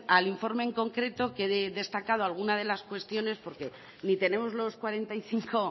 al informe en concreto que he destacado alguna de las cuestiones porque ni tenemos los cuarenta y cinco